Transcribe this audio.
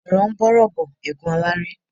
Ọ̀RỌ̀ ń bá ọ̀rọ̀ bọ̀, égún aláré.